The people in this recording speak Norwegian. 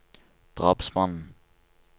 drapsmannen